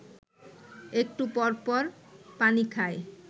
একটু পরপর পানি খায়